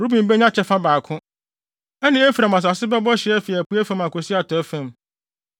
Ruben benya kyɛfa baako; ɛne Efraim asase bɛbɔ hye afi apuei fam akosi atɔe fam.